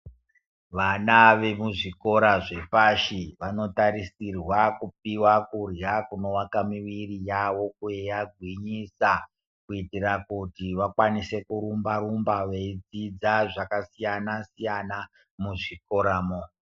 Vama vemuzvikora zvepashi vanotarisirwa kupihwa kurya kunovaka mwiri yavo kwei agwinyisa kutitira kuti vakwanise kurumba rumba veidzidza zvaka siyana siyana muzvikoramwo.